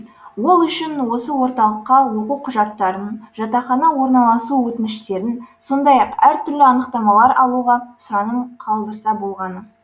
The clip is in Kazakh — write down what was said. ол үшін осы орталыққа оқу құжаттарын жатақхана орналасу өтініштерін сондай ақ әртүрлі анықтамалар алуға сұраным қалдырса болғаны